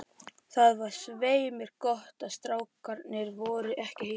Það var svei mér gott að strákarnir voru ekki heima.